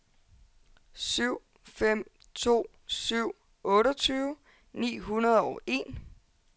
syv fem to syv otteogtyve ni hundrede og en